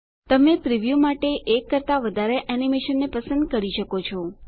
તમે પ્રીવ્યું માટે એક કરતા વધારે એનીમેશનને પણ પસંદ કરી શકો છો